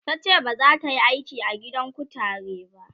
tace bazata Yi aiki a gidan kutare ba